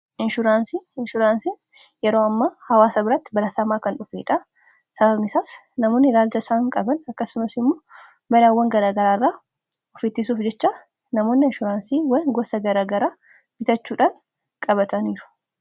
inshuraansiin yeroo amma hawaasa biratti baratamaa kan dhufedha. sababni isaas namoonni ilaalcha saan qaban akkasumasi immoo balaawwan garagaraarraa ofiittisuuf jecha namoonni inshuraansiiwwan gosa garagaraa bitachuudhaan qabataniiru.